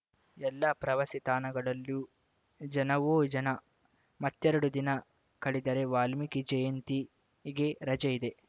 ಎಲ್ಲಾ ಪ್ರವಾಸಿ ತಾಣಗಳಲ್ಲಿಯೂ ಜನವೋ ಜನ ಮತ್ತೆರಡು ದಿನ ಕಳೆದರೆ ವಾಲ್ಮೀಕಿ ಜಯಂತಿಗೆ ರಜೆ ಇದೆ